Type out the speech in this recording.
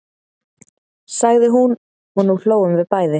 sagði hún og nú hlógum við bæði.